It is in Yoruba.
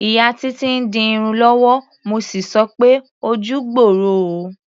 Ìyá Títí ń di irun lọ́wọ́, mo sì sọ pé "ojú gbooro o".